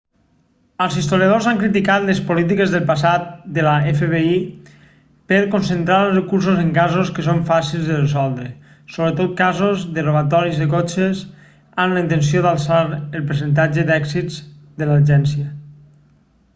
els historiadors han criticat les polítiques del passat de l'fbi per concentrar els recursos en casos que són fàcils de resoldre sobretot casos de robatoris de cotxes amb la intenció d'alçar el percentatge d'èxits de l'agència